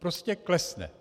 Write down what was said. Prostě klesne.